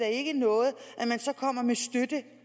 ikke noget at man kommer med støtte